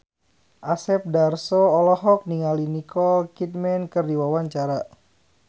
Asep Darso olohok ningali Nicole Kidman keur diwawancara